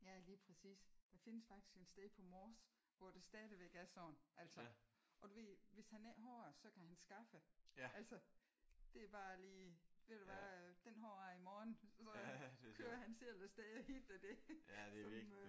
Ja lige præcis. Der findes faktisk et sted på Mors hvor det stadigvæk er sådan. Altså. Og du ved hvis han ikke har det så kan han skaffe altså det er bare lige ved du hvad? Den har jeg i morgen. Og så kører han selv af sted og henter det som